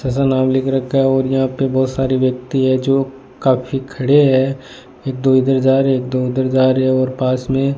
ऐसा नाम लिख रखा है और यहां पे बहोत सारी व्यक्ति है जो काफी खड़े हैं एक दो इधर जा रहे एक दो उधर जा रहे है और पास में --